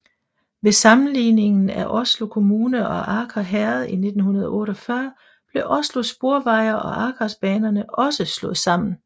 Ved sammenlægningen af Oslo kommune og Aker herred i 1948 blev Oslo Sporveier og Akersbanerne også slået sammen